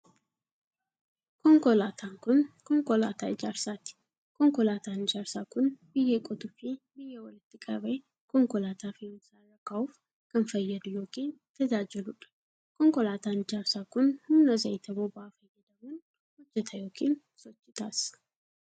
Konkolaataan kun, konkolaataa ijaarsaati. Konkolaataan ijaarsaa kun, biyyee qotuu fi biyyee walitti qabee konkolaataa fe'uumsaa irra kaa'uuf kan fayyadu yookiin tajaajiluu dha. Konkolaataan ijaarsaa kun, humna zayita boba'aa fayyadamuun hojjata yookiin sochii taasisa.